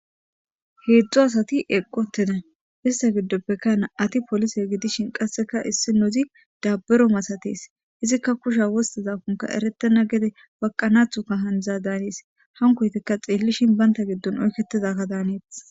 heedzdzu asati eqqi uteda ista giddoppekka na7ati polise gidishin qasseka issi nozi dabbero masates izikka kusha wosteza konka erettena gede waqanathu ka handza daanis hankoytikka xeellishin baynta giddon oykketizakka daaneetes